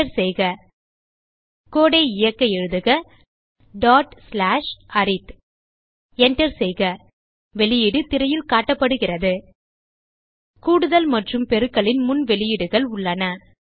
Enter செய்க கோடு ஐ இயக்க எழுதுக arith Enter செய்க வெளியீடு திரையில் காட்டப்படுகிறது கூடுதல் மற்றும் பெருக்கலின் முன் வெளியீடுகள் உள்ளன